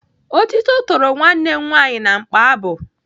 Otito toro nwanne m nwaanyị na mkpabụ.